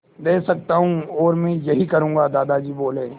दे सकता हूँ और मैं यही करूँगा दादाजी बोले